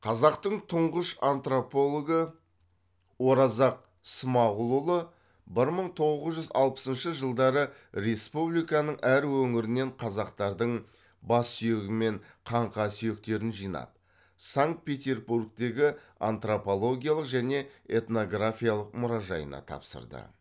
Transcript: қазақтың тұңғыш антропологы оразақ смағұлұлы бір мың тоғыз жүз алпысыншы жылдары республиканың әр өңірінен қазақтардың бас сүйегі мен қаңқа сүйектерін жинап санкт петербургтегі антропологиялық және этнографиялық мұражайына тапсырды